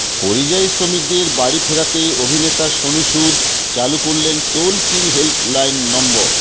পরিযায়ী শ্রমিকদের বাড়ি ফেরাতে অভিনেতা সোনু সুদ চালু করলেন টোল ফ্রি হেল্পলাইন নম্বর